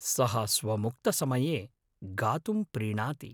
सः स्वमुक्तसमये गातुं प्रीणाति।